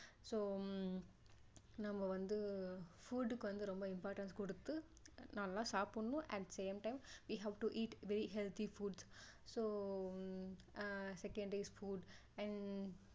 so நம்மவந்து food க்கு வந்து ரொம்ப impotance கொடுத்து நல்லா சாப்பிடணும் at the same time we have to eat very healthy foods so ஆஹ் second is food and